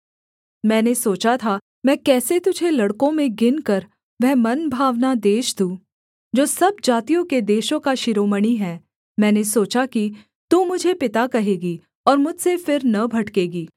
मैंने सोचा था मैं कैसे तुझे लड़कों में गिनकर वह मनभावना देश दूँ जो सब जातियों के देशों का शिरोमणि है मैंने सोचा कि तू मुझे पिता कहेगी और मुझसे फिर न भटकेगी